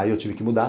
Aí eu tive que mudar.